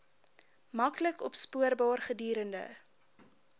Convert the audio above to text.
maklik opspoorbaar gedurende